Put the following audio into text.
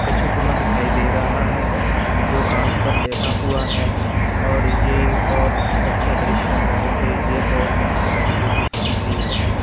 कछुगमा दिखाई दे रहा है जो कांच पर लेटा हुआ है और ये बहोत अच्छा दृश्य है अ ये बहोत अच्छी तस्वीर दिखाती है हमें --